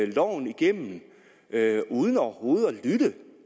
loven igennem uden overhovedet at lytte